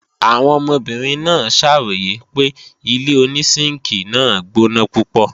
Àwọn ọmọbìnrin náà ṣàròyè pé ilé-onísínkìi náà gbóná púpọ̀